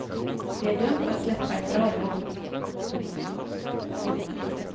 Det är dumt att släppa ett bra jobb.